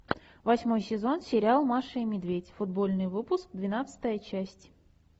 восьмой сезон сериал маша и медведь футбольный выпуск двенадцатая часть